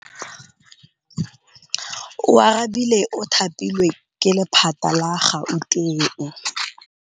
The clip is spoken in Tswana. Oarabile o thapilwe ke lephata la Gauteng.